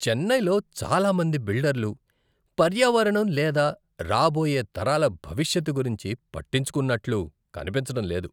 చెన్నైలో చాలామంది బిల్డర్లు పర్యావరణం లేదా రాబోయే తరాల భవిష్యత్తు గురించి పట్టించుకుంటున్నట్లు కనిపించడం లేదు.